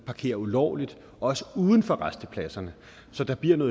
parkere ulovligt også uden for rastepladserne så der bliver